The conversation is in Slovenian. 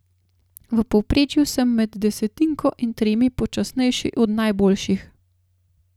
V povprečju sem med desetinko in tremi počasnejši od najboljših.